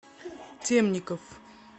темников